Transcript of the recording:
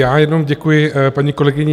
Já jenom děkuji paní kolegyni